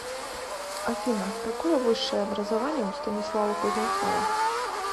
афина какое высшее образование у станислава кузнецова